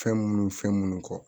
Fɛn minnu ni fɛn minnu kɔ